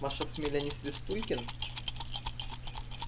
ваша фамилия не свистулькин